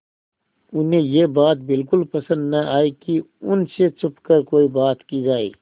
उन्हें यह बात बिल्कुल पसन्द न आई कि उन से छुपकर कोई बात की जाए